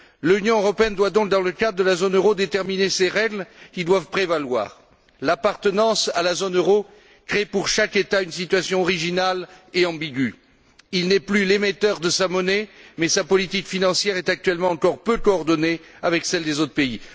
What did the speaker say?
L'Union européenne doit donc, dans le cadre de la zone euro, déterminer les règles qui doivent prévaloir. L'appartenance à la zone euro crée, pour chaque État, une situation originale et ambiguë il n'est plus l'émetteur de sa monnaie, mais sa politique financière est actuellement encore peu coordonnée avec celle des autres pays.